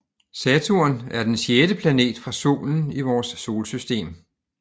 Saturn er den sjette planet fra solen i vores solsystem